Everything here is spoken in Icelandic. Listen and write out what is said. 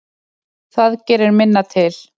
Það gerir minna til.